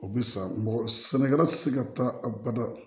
O bɛ sa mɔgɔ sɛnɛkɛla tɛ se ka taa a bada